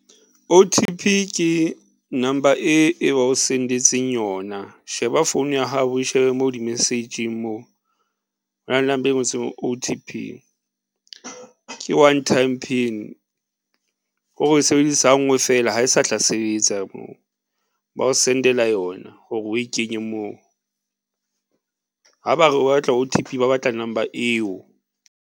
O_T_P ke number e, e ba o send-etseng yona, sheba phone ya hao, o shebe mo di-message-ing moo hona le number e ngotsweng. O_T_P ke one time pin, kore o e sebedisa ha nngwe fela ha e sa tla sebetsa moo. Ba o send-ela yona hore o e kenye moo ha ba re o batla O_T_P ba batla number eo.